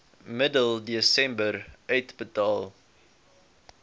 middel desember uitbetaal